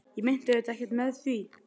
Ég meinti auðvitað ekkert með því.